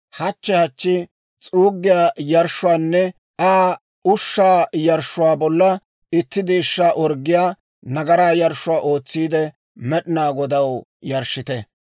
Hachche hachchi s'uuggiyaa yarshshuwaanne Aa ushshaa yarshshuwaa bolla, itti deeshshaa orggiyaa nagaraa yarshshuwaa ootsiide, Med'inaa Godaw yarshshite.